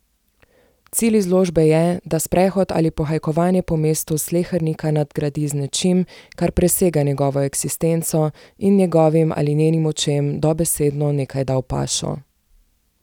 Cilj izložbe je, da sprehod ali pohajkovanje po mestu slehernika nadgradi z nečim, kar presega njegovo eksistenco, in njegovim ali njenim očem dobesedno nekaj da v pašo.